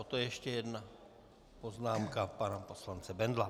Poté ještě jedna poznámka pana poslance Bendla.